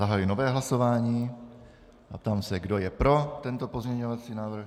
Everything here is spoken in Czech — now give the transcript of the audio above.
Zahajuji nové hlasování a ptám se, kdo je pro tento pozměňovací návrh.